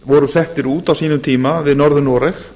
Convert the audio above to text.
voru settir út á sínum tíma við norður noreg